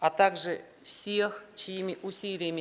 а также всех чьими усилиями